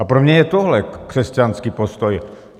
A pro mě je tohle křesťanský postoj.